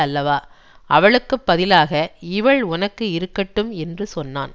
அல்லவா அவளுக்கு பதிலாக இவள் உனக்கு இருக்கட்டும் என்று சொன்னான்